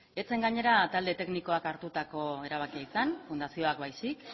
ez zen gainera talde teknikoak hartutako erabakia izan fundazioak baizik